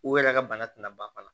U yɛrɛ ka bana tɛna ban fana